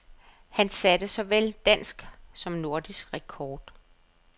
Han satte såvel dansk som nordisk rekord.